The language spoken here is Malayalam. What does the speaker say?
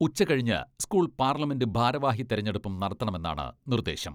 ഉച്ചകഴിഞ്ഞ് സ്കൂൾ പാർലമെന്റ് ഭാരവാഹി തെരഞ്ഞെടുപ്പും നടത്തണമെന്നാണ് നിർദേശം.